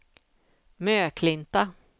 Möklinta